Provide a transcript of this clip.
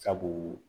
Sabu